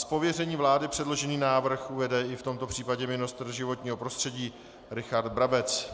Z pověření vlády předložený návrh uvede i v tomto případě ministr životního prostředí Richard Brabec.